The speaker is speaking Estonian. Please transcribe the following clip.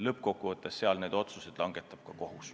Lõppkokkuvõttes need otsused langetab kohus.